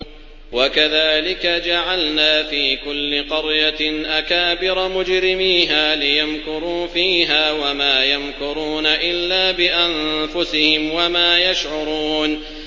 وَكَذَٰلِكَ جَعَلْنَا فِي كُلِّ قَرْيَةٍ أَكَابِرَ مُجْرِمِيهَا لِيَمْكُرُوا فِيهَا ۖ وَمَا يَمْكُرُونَ إِلَّا بِأَنفُسِهِمْ وَمَا يَشْعُرُونَ